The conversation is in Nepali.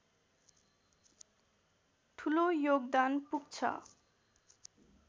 ठुलो योगदान पुग्छ